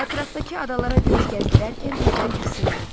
Ətrafdakı adalara göz gəzdirərkən birdən diksindi.